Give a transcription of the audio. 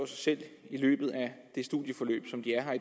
selv i løbet af det studieforløb som de er her